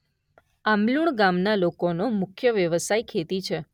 આંબલુણ ગામના લોકોનો મુખ્ય વ્યવસાય ખેતી છે.